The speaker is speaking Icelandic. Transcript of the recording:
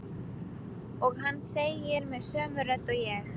Og hann segir með sömu rödd og ég.